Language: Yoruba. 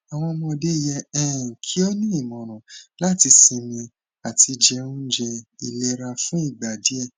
awọn ọmọde yẹ um ki o ni imọran lati sinmi ati je ounje ilera fun igba diẹ